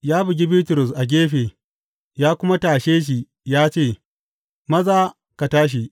Ya bugi Bitrus a gefe ya kuma tashe shi ya ce, Maza, ka tashi!